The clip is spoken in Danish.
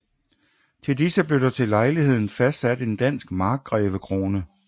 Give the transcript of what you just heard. Til disse blev der til lejligheden fastsat en dansk markgrevekrone